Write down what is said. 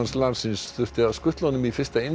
landsins þurfti að skutla honum í fyrsta